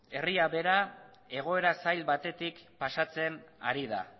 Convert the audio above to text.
herria bera egoera zail batetik pasatzen ari da